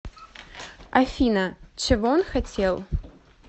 афина чего он хотел